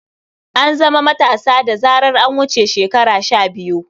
An zama matasa da zarar an wuce shekara shabiyu.